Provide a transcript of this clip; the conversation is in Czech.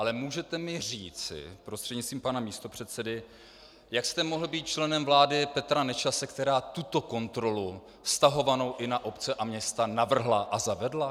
Ale můžete mi říci prostřednictvím pana místopředsedy, jak jste mohl být členem vlády Petra Nečase, která tuto kontrolu vztahovanou i na obce a města, navrhla a zavedla?